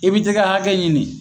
I bi t'i ka hakɛ ɲini